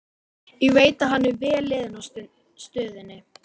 Ég veit að hann er mjög vel liðinn á stöðinni.